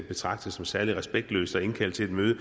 betragtet som særlig respektløst at indkalde til et møde